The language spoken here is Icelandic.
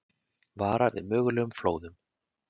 Varað við mögulegum flóðum